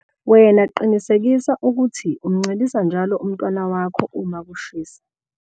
Wena qinisekisa ukuthi umncelisa njalo umntwana wakho uma kushisa.